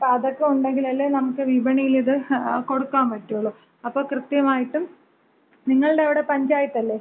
അപ്പോ അതൊക്ക ഒണ്ടെങ്കിലല്ലേ നമുക്ക് ഇത് വിപണിയിലിത് കൊടുക്കാൻ പറ്റുള്ളൂ. അപ്പോ കൃത്യമായിട്ടും നിങ്ങളുടെ അവിടെ പഞ്ചായത്ത് അല്ലേ?